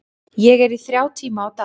Ég er í þrjá tíma á dag.